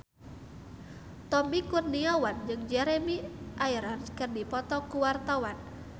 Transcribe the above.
Tommy Kurniawan jeung Jeremy Irons keur dipoto ku wartawan